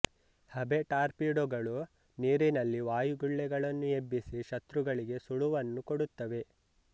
ಹಬೆ ಟಾರ್ಪೀಡೊಗಳು ನೀರಿನಲ್ಲಿ ವಾಯುಗುಳ್ಳೆಗಳನ್ನು ಎಬ್ಬಿಸಿ ಶತ್ರುಗಳಿಗೆ ಸುಳುವನ್ನು ಕೊಡುತ್ತವೆ